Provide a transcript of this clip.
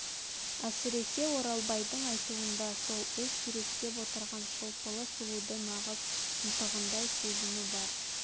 әсіресе оралбайдың айтуында сол өз суреттеп отырған шолпылы сұлуды нағыз ынтығындай сезну бар